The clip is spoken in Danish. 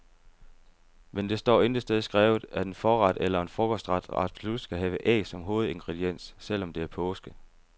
Men det står intet sted skrevet, at en forret eller en frokostret absolut skal have æg som hovedingrediens, selv om det er påske.